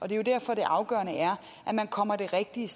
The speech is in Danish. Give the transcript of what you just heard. jo derfor det afgørende er at man kommer det rigtige